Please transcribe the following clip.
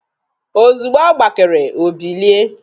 Ozugbo ọ gbakere, o bilie.